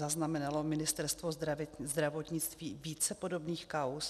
Zaznamenalo Ministerstvo zdravotnictví více podobných kauz?